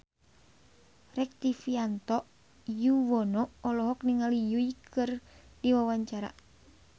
Rektivianto Yoewono olohok ningali Yui keur diwawancara